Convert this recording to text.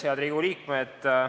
Head Riigikogu liikmed!